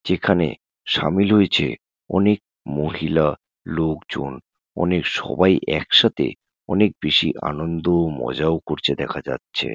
যেখানে সামিল হয়েছে অনেক মহিলা লোক জন। অনেক সবাই এক সাথে অনেক বেশি আনন্দ ও মজা ও করছে দেখা যাচ্ছে ।